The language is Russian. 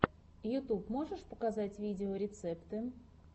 ютуб можешь показать видеорецепты